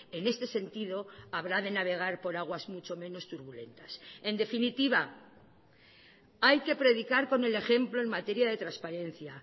en este sentido habrá de navegar por aguas mucho menos turbulentas en definitiva hay que predicar con el ejemplo en materia de transparencia